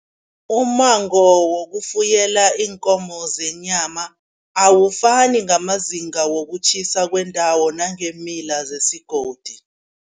Umango wokufuyela iinkomo zenyama, awufuni ngamazinga wokutjhisa kwendawo nangeemila zesigodi.